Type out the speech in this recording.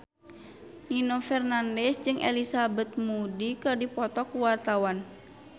Nino Fernandez jeung Elizabeth Moody keur dipoto ku wartawan